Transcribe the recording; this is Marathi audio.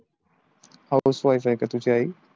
house wife आहे का तुझी आई?